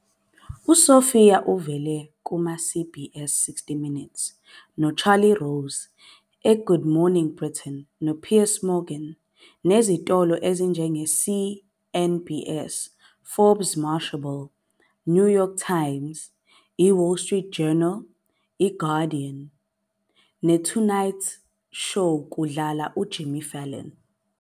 USophia uvele kuma-CBS "60 Minutes" noCharlie Rose, "eGood Morning Britain" noPiers Morgan, nezitolo ezinjenge-CNBC, "Forbes", Mashable, "New York Times", "iWall Street Journal", i- "Guardian", ne- "Tonight Show Kudlala uJimmy Fallon".